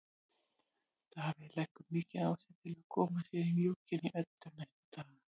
Davíð leggur mikið á sig til að koma sér í mjúkinn hjá Eddu næstu daga.